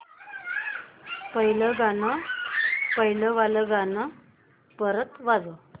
पहिलं वालं गाणं परत वाजव